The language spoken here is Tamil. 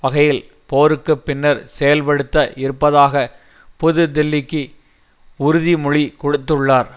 வகையில் போருக்கு பின்னர் செயல்படுத்த இருப்பதாக புது டெல்லிக்கு உறுதி மொழி கொடுத்துள்ளார்